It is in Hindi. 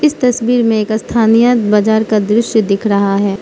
इस तस्वीर में एक स्थानीय बाजार का दृश्य दिख रहा है।